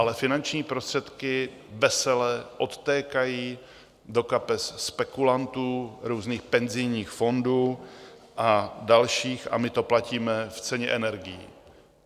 Ale finanční prostředky vesele odtékají do kapes spekulantů, různých penzijních fondů a dalších a my to platíme v ceně energií.